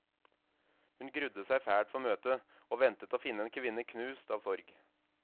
Hun grudde seg fælt for møtet, og ventet å finne en kvinne knust av sorg.